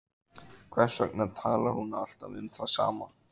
Hvers vegna talar hún alltaf um það sama?